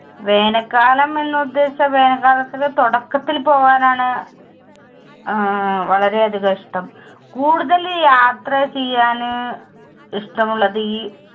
വേനൽ കാലം എന്ന് ഉദ്ദേശിച്ച വേനൽ തുടക്കത്തിൽ പോകാൻ ആണ് അഹ് വളരെ അധികം ഇഷ്ടം. കൂടുതൽ യാത്ര ചെയ്യാൻ ഇഷ്ടം ഉള്ളത് ഈ.